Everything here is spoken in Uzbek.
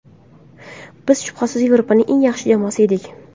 Biz, shubhasiz, Yevropaning eng yaxshi jamoasi edik.